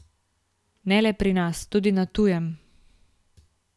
Ne le pri nas, tudi na tujem.